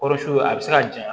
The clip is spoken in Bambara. Kɔrɔsi a bɛ se ka janɲa